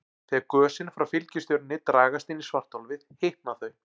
Þegar gösin frá fylgistjörnunni dragast inn í svartholið hitna þau.